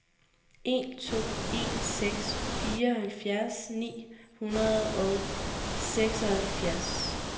en to en seks fireoghalvfjerds ni hundrede og seksoghalvfjerds